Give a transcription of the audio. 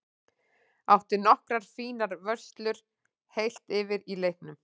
Átti nokkrar fínar vörslur heilt yfir í leiknum.